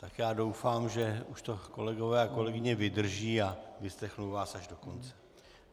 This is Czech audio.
Tak já doufám, že už to kolegové a kolegyně vydrží a vyslechnou vás až do konce.